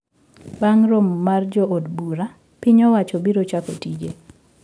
Bang` romo mar jo od bura piny owacho biro chako tije